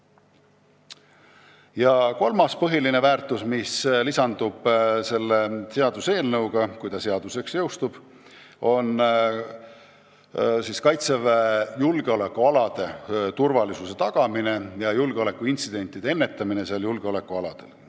Ja kolmas võimalus, mis lisandub selle eelnõuga, kui see seadusena jõustub, on Kaitseväe julgeolekualade turvalisuse tagamine ja julgeolekuintsidentide ennetamine julgeolekualadel.